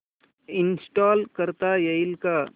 install करता येईल का